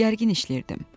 Gərgin işləyirdim.